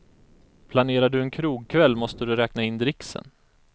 Planerar du en krogkväll måste du räkna in dricksen.